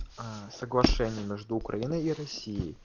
а соглашение между украиной и россией